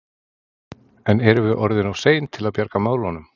En erum við orðin of sein til að bjarga málum?